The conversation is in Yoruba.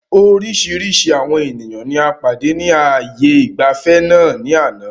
Oríṣiríṣi àwọn ènìyàn ní a pàdé ni ààyè ìgbafẹ́ náà ni àná